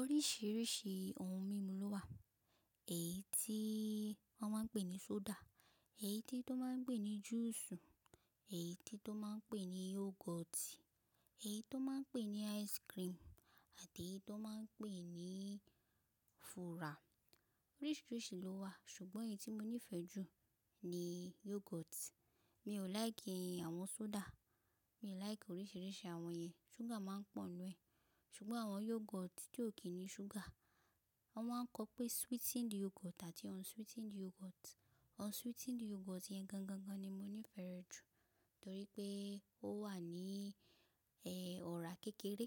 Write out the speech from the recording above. Oríṣiríṣi ohun mímu ló wà, èyí tí wọ́n máa ń pè ní soda, èyí tí wọ́n máa ń pè ní juice, èyí tí wọ́n máa ń pè ní yoghurt, èyí tí wọ́n máa ń pè ní ice cream àti èyí tí wọ́n máa ń pè ní fura. Oríṣiríṣi ló wà ṣùgbọ́n èyí tí mo nífẹ̀ẹ́ jù ni yoghurt. Mi ò like àwọn soda, mi ò like oríṣiríṣi àwọn yẹn, ṣúgà máa ń pọ̀ nínú ẹ̀. Ṣùgbọ́n àwọn yoghurt tí ò kí ń ní ṣúgà, wọ́n máa ń kọ pé sweetened yoghurt àti unsweetened yoghurt. Unsweetened yoghurt yẹn gan gan gan ni mo nífẹ̀ẹ́ rẹ jù torí pé ó wà ní ẹ́ ọ̀rá kékeré,